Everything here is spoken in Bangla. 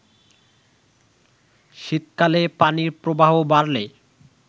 শীতকালে পানির প্রবাহ বাড়লে